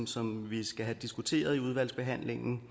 som vi skal have diskuteret i udvalgsbehandlingen